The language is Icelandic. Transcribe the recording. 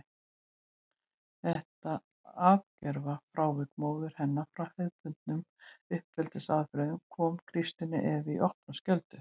Þetta algjöra frávik móður hennar frá hefðbundnum uppeldisaðferðum kom Kristínu Evu í opna skjöldu.